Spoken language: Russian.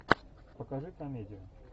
покажи комедию